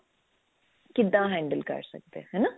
ਕਿੱਦਾਂ handle ਕਰ ਸਕਦੇ ਹਾਂ ਹਨਾ